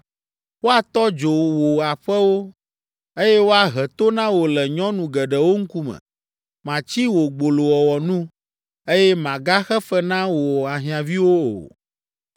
Woatɔ dzo wò aƒewo, eye woahe to na wò le nyɔnu geɖewo ŋkume. Matsi wò gbolowɔwɔ nu, eye màgaxe fe na wò ahiãviwo o.